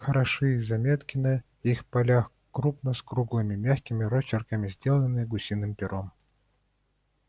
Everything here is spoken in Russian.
хороши и заметки на их полях крупно и с круглыми мягкими росчерками сделанные гусиным пером